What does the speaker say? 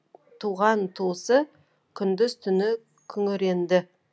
туған туысы күндіз түні күңіренді